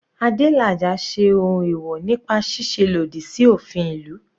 Adelaja ṣe ohun ẹ̀wọ̀ nípa ṣíṣe lòdì sí òfin ìlú.